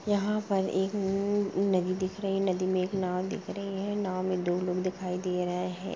यहाँ पर एक नदी दिख रही है नदी मैं एक नाव दिख रही है नाव मैं दो लोग दिखाई दे रहे हैं।